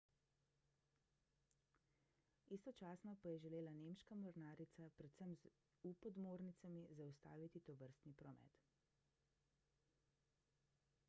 istočasno pa je želela nemška mornarica predvsem z u-podmornicami zaustaviti tovrstni promet